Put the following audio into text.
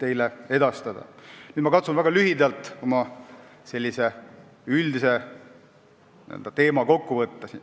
Nüüd ma katsun väga lühidalt siin oma teema üldiselt kokku võtta.